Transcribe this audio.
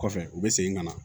Kɔfɛ u bɛ segin ka na